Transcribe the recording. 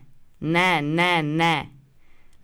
Ne, ne, ne!